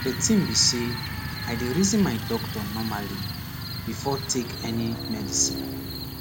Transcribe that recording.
the tin be say i dey reason my doctor normally before take any medicine